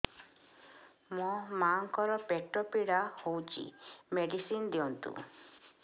ମୋ ମାଆଙ୍କର ପେଟ ପୀଡା ହଉଛି ମେଡିସିନ ଦିଅନ୍ତୁ